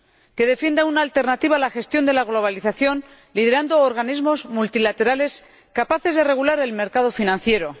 que defienda una alternativa a la gestión de la globalización, liderando organismos multilaterales capaces de regular el mercado financiero.